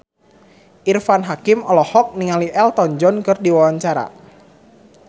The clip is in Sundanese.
Irfan Hakim olohok ningali Elton John keur diwawancara